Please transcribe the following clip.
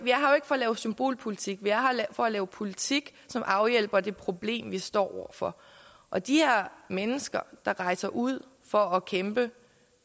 for at lave symbolpolitik vi er her for at lave politik som afhjælper det problem vi står over for og de her mennesker der rejser ud for at kæmpe